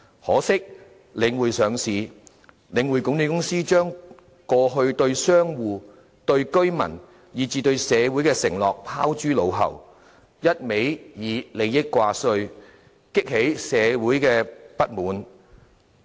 可惜，領匯上市後，領匯管理公司將過去對商戶、對居民，以至對社會的承諾拋諸腦後，一昧以利益掛帥，激起社會的不滿。